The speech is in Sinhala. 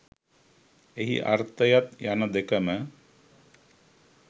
එහි අර්ථයත් යන දෙකම